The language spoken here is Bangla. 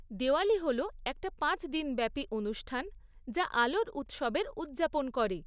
দেওয়ালি হল একটা পাঁচ দিনব্যাপী অনুষ্ঠান যা আলোর উৎসবের উদযাপন করে।